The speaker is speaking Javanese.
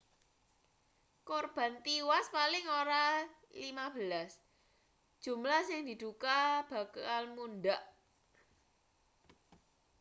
korban tiwas paling ora 15 jumlah sing diduga bakal mundhak